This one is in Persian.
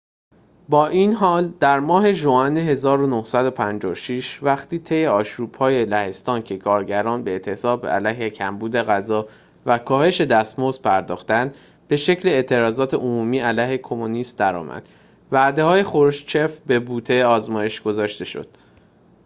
با این حال در ماه ژوئن ۱۹۵۶ وقتی طی آشوب‌های لهستان که کارگران به اعتصاب علیه کمبود غذا و کاهش دستمزد پرداختند به شکل اعتراضات عمومی علیه کمونیسم در آمد وعده‌های خروشچف به بوته آزمایش گذاشته شد